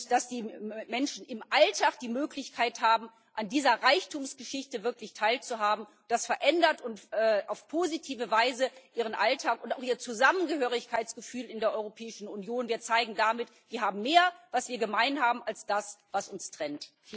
Dass die Menschen im Alltag die Möglichkeit haben, an dieser Reichtumgeschichte wirklich teilzuhaben, das verändert auf positive Weise ihren Alltag und auch ihr Zusammengehörigkeitsgefühl in der Europäischen Union. Wir zeigen damit Wir haben mehr, was wir gemein haben, als das, was uns trennt.